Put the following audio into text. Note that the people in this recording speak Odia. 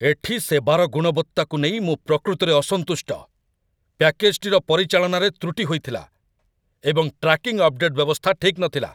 ଏଠି ସେବାର ଗୁଣବତ୍ତାକୁ ନେଇ ମୁଁ ପ୍ରକୃତରେ ଅସନ୍ତୁଷ୍ଟ। ପ୍ୟାକେଜଟିର ପରିଚାଳନାରେ ତ୍ରୁଟି ହୋଇଥିଲା, ଏବଂ ଟ୍ରାକିଂ ଅପଡେଟ୍ ବ୍ୟବସ୍ଥା ଠିକ୍ ନଥିଲା!